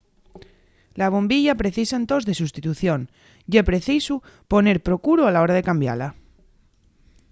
la bombilla precisa entós de sustitución ye preciso poner procuru a la hora de cambiala